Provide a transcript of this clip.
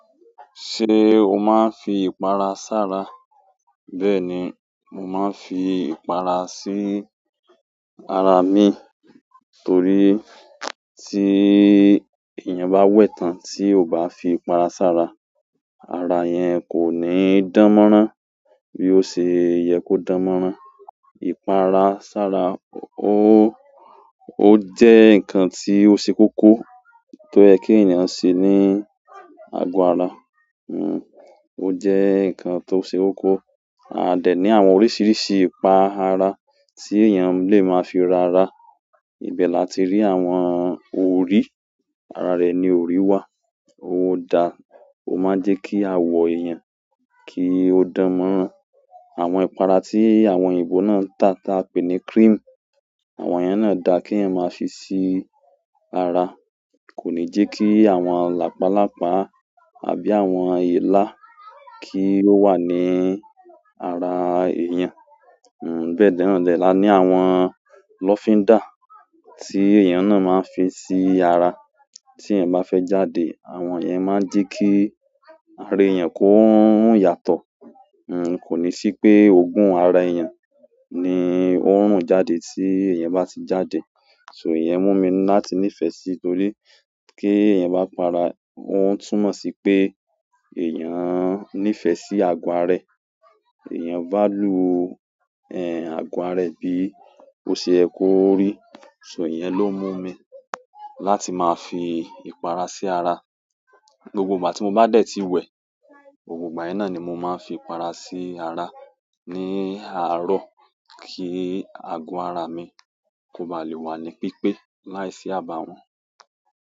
Ṣé o máa fi ìpara sára? Bẹ́ẹ̀ni, mo máa ń fi ìpara sí ara mi torí tí èèyàn bá wẹ̀ tán tí ò bá fi ìpara sára, ara yẹn kò ní dánmọ́rán bí ó ṣe yẹ kó dánmọ́rán. Ìpara sára ó, ó jẹ́ nǹkan tí ó ṣe kókó tó yè kí èèyàn ṣe ní àgọ́ ará. N, ó jẹ́ nǹkan tó ṣe kókó. A dẹ̀ ní àwọn oríṣiríṣi ipá àrá ti èèyàn lè máa fi rá ará ibẹ̀ la ti rí àwọn orí, ara rẹ̀ ni orí wà. Ó dá, ó máa ń jẹ́ kí awọ èèyàn kí ó dánmọ́rán. Àwọn ìpara tí àwọn òyìnbó náà ń tà tí a pè ní cream, àwọn yẹn náà da kí èèyàn máa fi sí ara. Kò ní jẹ́ kí àwọn làpálàpá àbí àwọn èélá kí ó wà ní ara èèyàn. N, bẹ́ẹ̀ dẹ́ nó la ní àwọn lọ́fíndà tí èèyàn náà máa ń fi sí ara. Tí èèyàn bá fẹ́ jáde, àwọn yẹn máa ń jẹ́ kí ara èèyàn kó ń run yàtọ̀. N, kò ní sí pé oògùn ara èèyàn ni ó ń rùn jáde tí èèyàn bá ti jáde. So ìyẹn mú mi láti nífẹ̀ẹ́ sí torí kí èèyàn bá para, ó ń túmọ̀ sí pé èèyàn nífẹ̀ẹ́ sí àgọ ara ẹ. Èèyàn value, é agọ ara ẹ, bí ọ yé kí ọ rí. So ìyẹn ló mú mi láti máa fi ìpara sí ara. Gbogbo ìgbà tí mó ba dé tí wẹ, gbogbo gbà yé nọ́ni mọ máa fi ìpara si ara ni aro, ki àgó ara mi, kò o ba lè wà ni pípé là e sí abawọn.